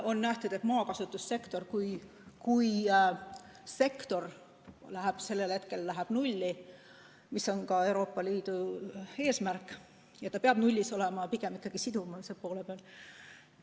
On pakutud, et maakasutussektor saavutab nulli – see on ka Euroopa Liidu eesmärk ja see peabki nullis olema – ikkagi sidumise poole pealt.